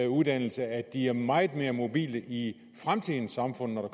uddannelse at de ville være meget mere mobile i fremtidens samfund når